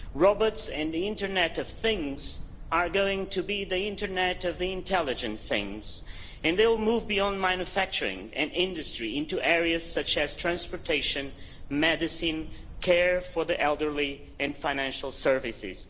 Robots in the internet of things are going to be the internet of the intelligent things, and they will move beyond manufacturing and industry into areas such as transportation, medicine, care for the elderly, and financial services.